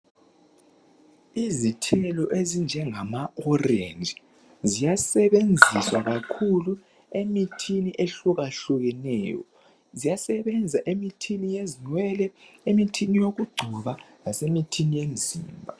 Izithelo ezinjengama orange ziyasebenziswa kakhulu emithini ehlukahlukeneyo ziyasebenza emithini yezinwele emithini yokugcoba lasemithini yemzimba.